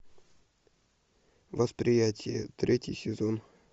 восприятие третий сезон